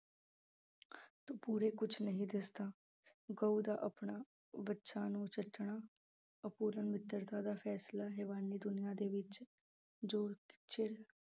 ਪੂਰੇ ਕੁਛ ਨਹੀਂ ਦਿਸਦਾ ਗਊ ਦਾ ਆਪਣਾ ਬੱਚਾ ਨੂੰ ਚੱਟਣਾ ਅਪਰੂਣ ਮਿੱਤਰਤਾ ਦਾ ਫੈਸਲਾ ਹੈਵਾਨੀ ਦੁਨੀਆਂ ਦੇ ਵਿੱਚ ਜੋ ਚਿਰ